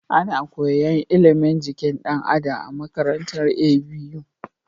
Ana koyan ilimin jikin dan Adam a makarantar ABU